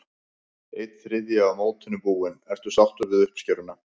Einn þriðji af mótinu búinn, ertu sáttur við uppskeruna?